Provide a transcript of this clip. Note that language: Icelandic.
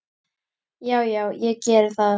Já, já, ég gerði það.